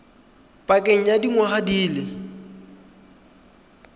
pakeng ya dingwaga di le